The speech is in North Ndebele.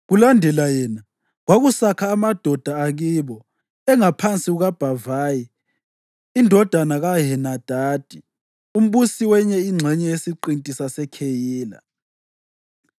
Kulandela yena, kwakusakha amadoda akibo engaphansi kukaBhavayi indodana kaHenadadi, umbusi wenye ingxenye yesiqinti saseKheyila.